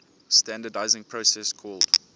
standardizing process called